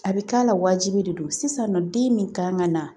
A bɛ k'a la wajibi de do sisan nɔ den min kan ka na